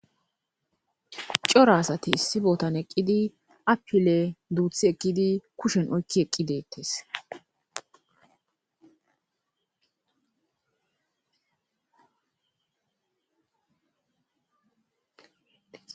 Cora asati issi bootan eqqidi appile duuthi ekkidi kushen oykki eqqi deettes.